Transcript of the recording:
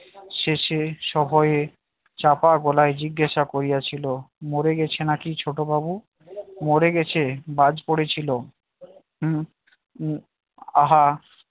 শেষে সভয়ে চাপা গলায় জিজ্ঞাসা করিয়াছিল মরে গেছে নাকি ছোট বাবু মরে গেছে বাজ পড়েছিল হম হম আহা